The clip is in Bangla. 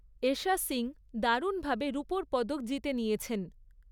এষা সিং দারুণভাবে রুপোর পদক জিতে নিয়েছেন।